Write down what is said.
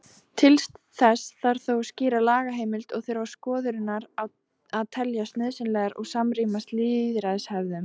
Til þess þarf þó skýra lagaheimild og þurfa skorðurnar að teljast nauðsynlegar og samrýmast lýðræðishefðum.